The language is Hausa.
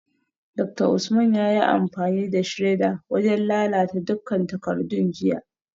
Dr Usman yayi amfani da shredder wajen lalata dukkan takardun jiya